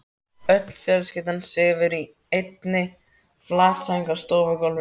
Öll fjölskyldan sefur í einni flatsæng á stofugólfinu.